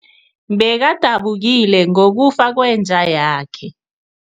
Bekadabukile ngokufa kwenja yakhe.